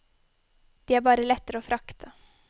De er bare lettere å frakte.